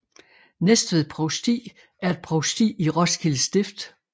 Næstved Provsti er et provsti i Roskilde Stift